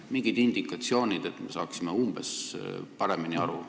Mingid indikatsioonid, et me saaksime paremini aru.